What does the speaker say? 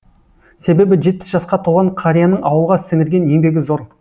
себебі жетпіс жасқа толған қарияның ауылға сіңірген еңбегі зор